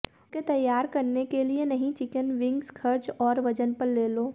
उनके तैयार करने के लिए नहीं चिकन विंग्स खर्च और वजन पर ले लो